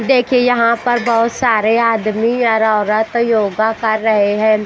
देखिए यहाँ पर बहुत सारे आदमी और औरत योगा कर रहे है।